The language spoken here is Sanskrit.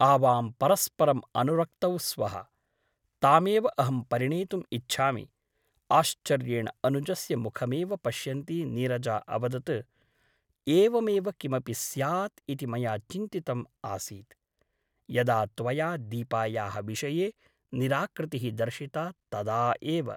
आवां परस्परम् अनुरक्तौ स्वः । तामेव अहं परिणेतुम् इच्छामि । आश्चर्येण अनुजस्य मुखमेव पश्यन्ती नीरजा अवदत् एवमेव किमपि स्यात् इति मया चिन्तितम् आसीत् , यदा त्वया दीपायाः विषये निराकृतिः दर्शिता तदा एव ।